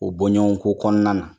O bɔɲɔgɔnko kɔnɔna na